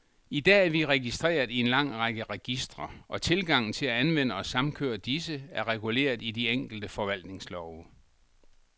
I dag er vi registreret i en lang række registre, og tilgangen til at anvende og samkøre disse, er reguleret i de enkelte forvaltningslove.